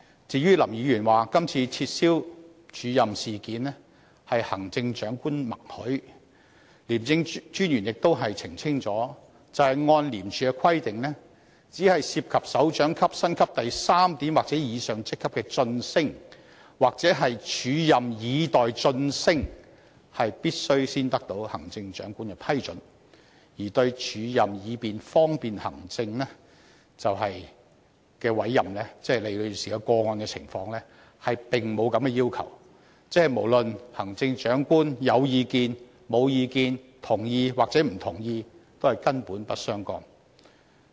至於林議員指今次撤銷署任事件是得到行政長官的默許，廉政專員亦已澄清，按照廉署的規定，只有涉及首長級薪級第3點或以上職級的晉升或"署任以待晉升"，才必須先取得行政長官的批准，而對"署任以方便行政"的委任，即李女士個案的情況，並沒有這個要求，即無論行政長官是否有意見、同意抑或不同意，並不相干。